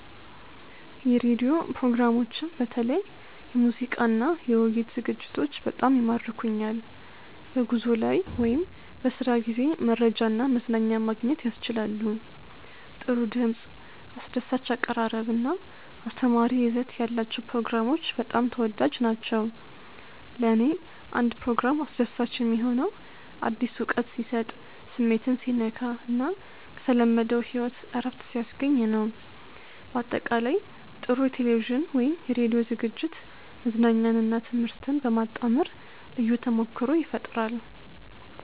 የራዲዮ ፕሮግራሞችም በተለይ የሙዚቃና የውይይት ዝግጅቶች በጣም ይማርኩኛል። በጉዞ ላይ ወይም በስራ ጊዜ መረጃና መዝናኛ ማግኘት ያስችላሉ። ጥሩ ድምፅ፣ አስደሳች አቀራረብ እና አስተማሪ ይዘት ያላቸው ፕሮግራሞች በጣም ተወዳጅ ናቸው። ለእኔ አንድ ፕሮግራም አስደሳች የሚሆነው አዲስ እውቀት ሲሰጥ፣ ስሜትን ሲነካ እና ከተለመደው ሕይወት እረፍት ሲያስገኝ ነው። በአጠቃላይ፣ ጥሩ የቴሌቪዥን ወይም የራዲዮ ዝግጅት መዝናኛንና ትምህርትን በማጣመር ልዩ ተሞክሮ ይፈጥራል